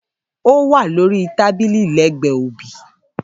Ówà lórí tábìlì lẹgbẹ obì.